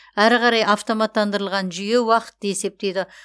әрі қарай автоматтандырылған жүйе уақытты есептейді